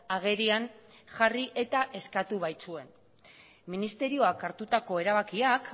agerian jarri eta eskatu baitzuen ministerioak hartutako erabakiak